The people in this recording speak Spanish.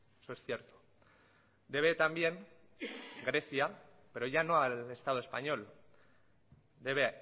eso es cierto debe también grecia pero ya no al estado español debe